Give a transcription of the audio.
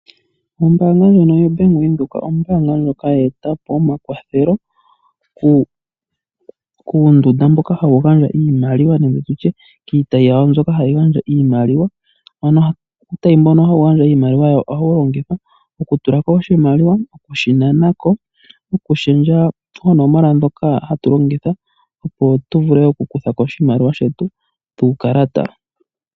Ombaanga ndjono yo Bank Windhoek ombaanga ndjoka ya eta po omakwathelo kuundunda mboka hawu gandja iimaliwa nenge tutye kiitayi yawo mbyoka hayi gandja iimaliwa. Ano uutayi mboka hawu gandja iimaliwa ohawu longithwa okutulako oshimaliwa noshowo okushi nana ko. Nokulundulula onomola dhokahatu longitha opo tu vule okukuthako oshimaliwa shetu kuukalata.